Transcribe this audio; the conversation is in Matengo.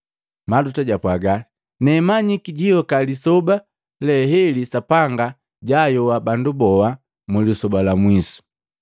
Maluta japwaga, “Nee manyiki jiyoka lisoba le heli Sapanga jayoa bandu boa, mulisoba la mwisu.”